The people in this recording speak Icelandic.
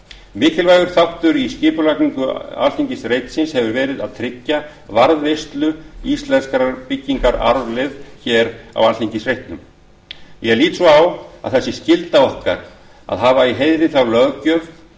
mikilvægur þáttur í skipulagningu alþingisreitsins hefur verið að tryggja varðveislu íslenskrar byggingararfleifðar á reitnum ég lít svo á að það sé skylda okkar að hafa í heiðri þá löggjöf